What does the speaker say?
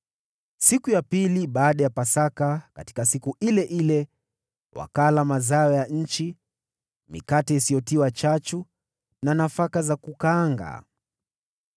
Siku iliyofuata Pasaka, katika siku ile ile, wakala mazao ya nchi, mikate isiyotiwa chachu na nafaka za kukaanga.